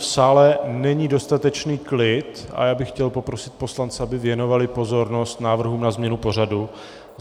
V sále není dostatečný klid a já bych chtěl poprosit poslance, aby věnovali pozornost návrhům na změnu pořadu.